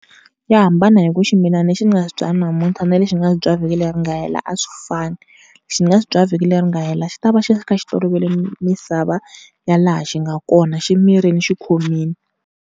Ya hambana hi ku ximilana lexi ni nga xi byala namuntlha na lexi ni nga xi byala vhiki leri nga hela a swi fani. Lexi ni nga xi byala vhiki leri nga hela xi ta va xi kha xi tolovele misava ya laha xi nga kona xi mirile xikhomile.